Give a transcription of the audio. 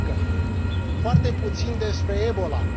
remarcă foarte puțin despre Ebola.